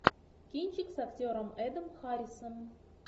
кинчик с актером эдом харрисом